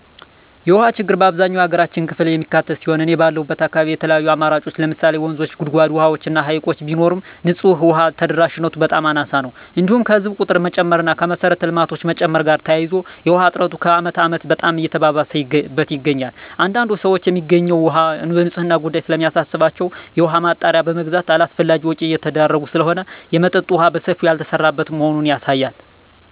የውሃ ችግር አብዛኛው የሀገራችን ክፍል የሚካትት ሲሆን እኔ ባለሁበት አካባቢ የተለያዩ አማራጮች ለምሳሌ ወንዞች; ጉድጓድ ውሃዎች እና ሀይቅ ቢኖርም ንፁህ ውሃ ተደራሽነቱ በጣም አናሳ ነው። እንዲሁም ከህዝብ ቁጥር መጨመር እና ከመሰረተ ልማቶች መጨመር ጋር ተያይዞ የውሃ እጥረቱ ከአመት አመት በጣም እየባሰበት ይገኛል። አንዳንድ ሰዎች የሚገኘው ውሃ የንፅህናው ጉዳይ ስለሚያሳስባቸው የውሃ ማጣሪያ በመግዛት አላስፈላጊ ወጭ እየተዳረጉ ስለሆነ የመጠጠጥ የውሃ በሰፊው ያልተሰራበት መሆኑ ያሳያል።